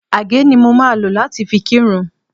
Àgé ni mo máa lò láti fi kírun